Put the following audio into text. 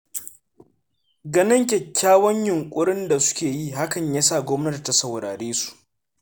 Ganin kyakkyawan yunƙurin da suka yi hakan ya sa Gwamnati ta saurare su.